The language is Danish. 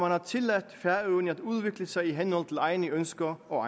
har tilladt færøerne at udvikle sig i henhold til egne ønsker og